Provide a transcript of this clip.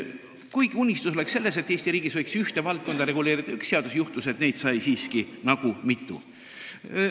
Kuigi unistus oli selline, et Eesti riigis võiks ühte valdkonda reguleerida üks seadus, juhtus nii, et neid sai siiski mitu.